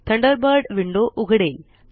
Thunderbird window उघडेल